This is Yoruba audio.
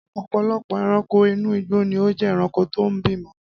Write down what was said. Ọ̀pọ̀lọpọ̀ ẹranko inú igbó ni ó jé ẹranko tó ń bímọ